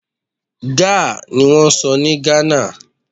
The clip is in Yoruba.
Gá niwọ́n ń sọ ní Ghana.